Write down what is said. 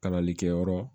Kalanlikɛyɔrɔ